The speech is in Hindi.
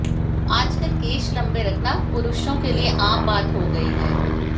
आजकल केश लम्बे रखना पुरुषों के लिए आम बात हो गर्इ है